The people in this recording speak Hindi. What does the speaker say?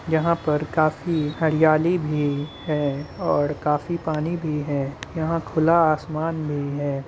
यहाँ पर काफ़ी हरियाली भी है और काफी पानी भी है। यहाँ खुला आसमान भी है।